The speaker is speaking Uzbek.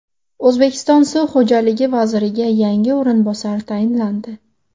O‘zbekiston suv xo‘jaligi vaziriga yangi o‘rinbosar tayinlandi.